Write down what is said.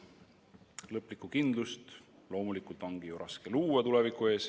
Lõplikku kindlust tuleviku ees loomulikult ongi raske luua.